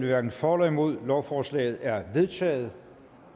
hverken for eller imod stemte lovforslaget er vedtaget